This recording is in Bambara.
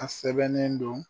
A sɛbɛnnen don